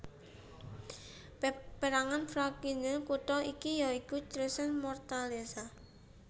Pérangan frazioni kutha iki ya iku Chiusa Martorella